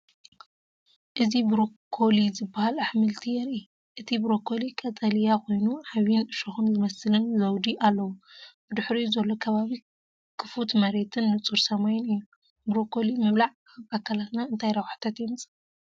እዚ ብሮኮሊ ዝበሃል ኣሕምልቲ የርኢ። እቲ ብሮኮሊ ቀጠልያ ኮይኑ ዓቢን እሾኽ ዝመስልን ዘውዲ ኣለዎ። ብድሕሪኡ ዘሎ ከባቢ ክፉት መሬትን ንጹር ሰማይን እዩ። ብሮኮሊ ምብላዕ ኣብ ኣካላትና እንታይ ረብሓታት የምጽእ?